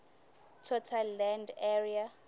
total land area